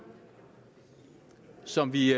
og som vi